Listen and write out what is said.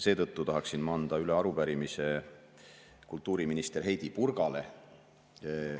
Seetõttu tahaksin ma anda üle arupärimise kultuuriminister Heidy Purgale.